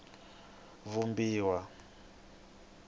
vumbiwa